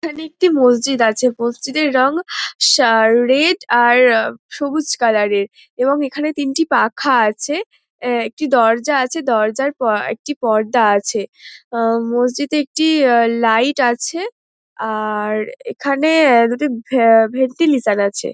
এইখানে একটি মসজিদ আছে। মসজিদের রং সা রেড এবং আর এ সবুজ কালোরের এবং এইখানে এইখানে তিনটি পাখা আছে। এ একটি দরজা আছে। দরজার এ একটি পর্দা আছে। মসজিদে একটি লাইট আছে। আ-আর এইখানে দুটি ভ্যা ভেন্টিলিটার আছে।